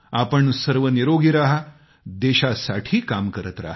आपण सर्व निरोगी रहा देशासाठी काम करत रहा